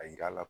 A yira a la